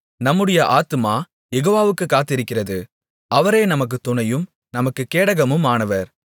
நம்முடைய ஆத்துமா யெகோவாவுக்குக் காத்திருக்கிறது அவரே நமக்குத் துணையும் நமக்குக் கேடகமுமானவர்